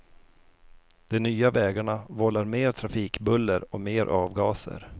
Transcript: De nya vägarna vållar mer trafikbuller och mer avgaser.